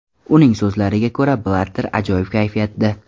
Uning so‘zlariga ko‘ra, Blatter ajoyib kayfiyatda.